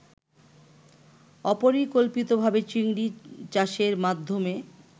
অপরিকল্পিতভাবে চিংড়ি চাষের মাধ্যমে